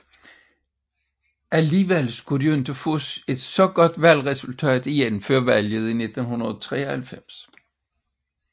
Alligevel skulle de ikke få et så godt valgresultat igen før valget i 1993